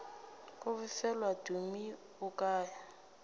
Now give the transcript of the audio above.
go befelwa tumi o kae